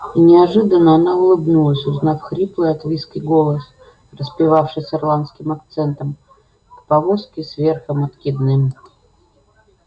и неожиданно она улыбнулась узнав хриплый от виски голос распевавший с ирландским акцентом в повозке с верхом откидным